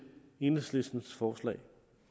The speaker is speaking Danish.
enhedslistens forslag